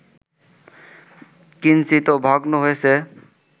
কিঞ্চিত ভগ্ন হয়েছে